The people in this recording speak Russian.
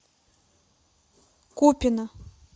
купино